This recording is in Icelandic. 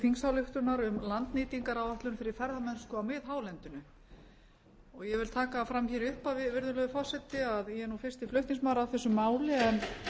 þingsályktunar um landnýtingaráætlun fyrir ferðamennsku á miðhálendinu ég vil taka það fram hér í upphafi virðulegur forseti að ég er nú fyrsti flutningsmaður að þessu máli en